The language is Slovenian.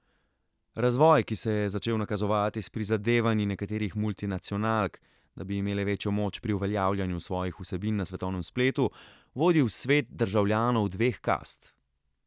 Razvoj, ki se je začel nakazovati s prizadevanji nekaterih multinacionalk, da bi imele večjo moč pri uveljavljanju svojih vsebin na svetovnem spletu, vodi v svet državljanov dveh kast.